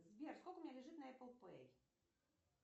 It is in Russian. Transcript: сбер сколько у меня лежит на эпл пэй